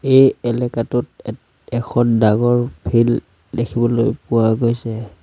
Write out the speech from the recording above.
এই এলেকাটোত এ এখন ডাঙৰ ফিল্ড দেখিবলৈ পোৱা গৈছে।